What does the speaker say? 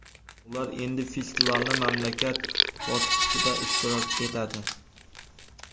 Ular endi festivalning mamlakat bosqichida ishtirok etadi.